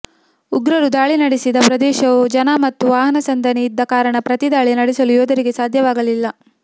ಉಗ್ರರು ದಾಳಿ ನಡೆಸಿದ ಪ್ರದೇಶವು ಜನ ಮತ್ತು ವಾಹನ ಸಂದಣಿ ಇದ್ದ ಕಾರಣ ಪ್ರತಿದಾಳಿ ನಡೆಸಲು ಯೋಧರಿಗೆ ಸಾಧ್ಯವಾಗಲಿಲ್ಲ